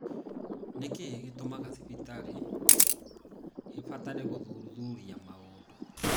Nĩ kĩĩ gĩtũmaga thibitarĩ ĩbatare gũthuthuria mũndũ?